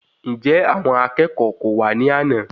Njẹ àwọn akẹ́kọ̀ọ́ kò wa ní àna?